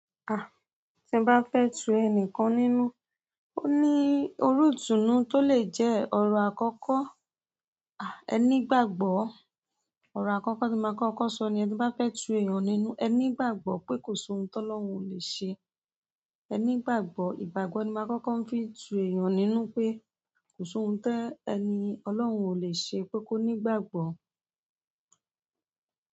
À, tí bá fẹ́ tu ẹni kan nínú, ó ní olóòtú tó lè jẹ́ ọrọ àkọ́kọ́. À ẹní igbàgbọ́. Ọ̀rọ̀ àkọ́kọ́ tí máa kọ́kọ́ sọ niyẹn tí bá fẹ́ tu èèyàn nínú, ẹ nígbàgbọ́ pé kò sí ohun tó lọ́hun ò lè ṣe. Ẹ nígbàgbọ́. Ìgbàgbọ́ ni máa kọ́kọ́ fi tu èèyàn nínú pé kò sí ohun tó ẹni Ọlọ́run ò lè ṣe pé kó nígbàgbọ́.